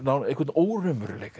einhvern óraunveruleika